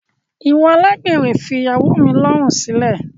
Iwọ alágbèrè fi ìyàwó mi lọrun silẹ!